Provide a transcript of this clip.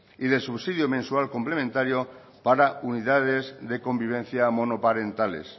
y de subsidio mensual complementario para unidades de convivencia monoparentales